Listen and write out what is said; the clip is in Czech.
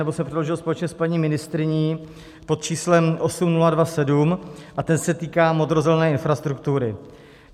nebo jsem předložil společně s paní ministryní pod číslem 8027, a ten se týká modrozelené infrastruktury.